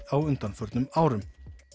á undanförnum árum